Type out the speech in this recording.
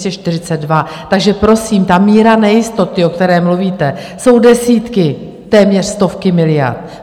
Takže prosím, ta míra nejistoty, o které mluvíte, jsou desítky, téměř stovky miliard.